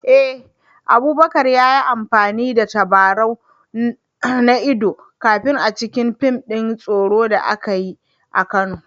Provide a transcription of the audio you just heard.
Eh, Abubakar ya yi amfani da tabarau na idon kifi a cikin fim din tsoro da aka yi a Kano